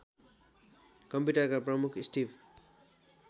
कम्प्युटरका प्रमुख स्टिभ